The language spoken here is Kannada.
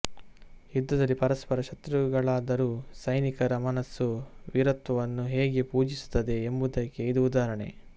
ಯುದ್ಧದಲ್ಲಿ ಪರಸ್ಪರ ಶತ್ರುಗಳಾದರೂ ಸೈನಿಕರ ಮನಸ್ಸು ವೀರತ್ವವನ್ನು ಹೇಗೆ ಪೂಜಿಸುತ್ತದೆ ಎಂಬುದಕ್ಕೆ ಇದು ಉದಾಹರಣೆ